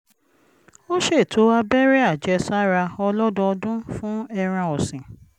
ó ṣètò abẹ́rẹ́ àjẹsára ọlọ́dọọdún fún ẹran ọ̀sìn